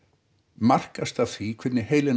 markast af því hvernig heilinn